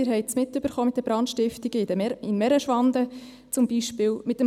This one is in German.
Sie haben es mitbekommen, dass es in Merenschwand zum Beispiel Brandstiftungen gab.